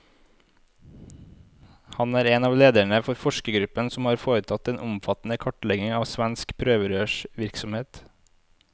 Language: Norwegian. Han er en av lederne for forskergruppen som har foretatt den omfattende kartleggingen av svensk prøverørsvirksomhet.